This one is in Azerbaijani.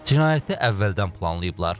Cinayəti əvvəldən planlayıblar.